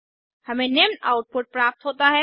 हमें निम्न आउटपुट प्राप्त होता है